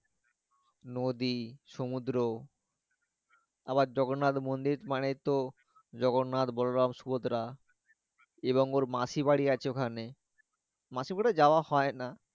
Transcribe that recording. নদী সমুদ্র আবার জন্নাত মন্দির মানে তো জগন্নাত বলরাম সুভদ্রা এবং ওর মাসির বাড়ি আছে ওখানে মাসি বাড়ি আছে ওখানে মাসি বাড়ি যাওয়া হয় না